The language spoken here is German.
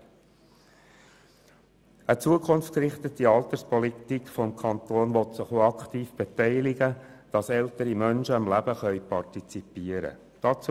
Eine zukunftsgerichtete Alterspolitik des Kantons will sich auch aktiv daran beteiligen, dass ältere Menschen am Leben partizipieren können.